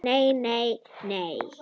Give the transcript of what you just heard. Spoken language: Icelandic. Nei, nei nei.